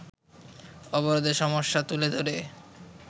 অবরোধের সমস্যা তুলে ধরে